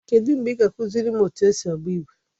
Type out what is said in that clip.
Kedụ mgbe ị ga-akụziri m otu esi agba igwe?